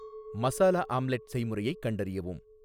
masala omelette செய்முறையைக் கண்டறியவும்